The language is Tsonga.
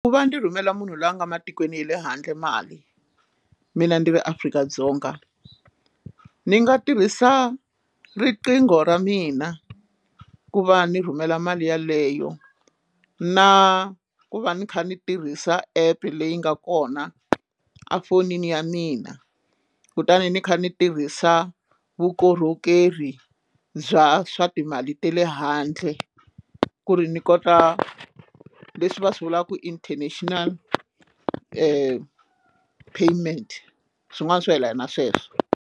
Ku va ndzi rhumela munhu loyi a nga matikweni ya le handle mali mina ndzi ve Afrika-Dzonga ndzi nga tirhisa riqingho ra mina ku va ndzi rhumela mali yeleyo na ku va ni kha ni tirhisa app leyi nga kona efonini ya mina kutani ndzi kha ndzi tirhisa vukorhokeri bya swa timali ta le handle ku ri ni kota leswi va swi vulaka ku international payment swin'wana swo yelana na sweswo.